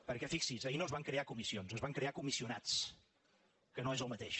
perquè fixi’s ahir no es van crear comissions es van crear comissionats que no és el mateix